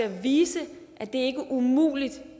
kan vise at det ikke er umuligt